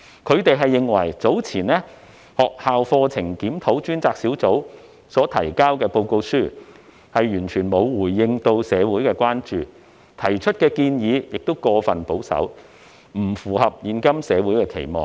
他們認為學校課程檢討專責小組較早前提交的報告，完全沒有回應社會的關注，當中提出的建議亦過於保守，不符合現今社會的期望。